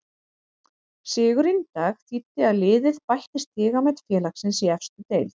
Sigurinn í dag þýddi að liðið bætti stigamet félagsins í efstu deild.